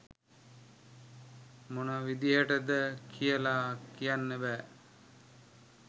මොන විදියටද කියල කියන්න බෑ.